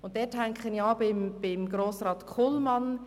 Hier beziehe ich mich auf Grossrat Kullmann.